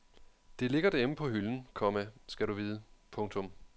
Det ligger derhjemme på hylden, komma skal du vide. punktum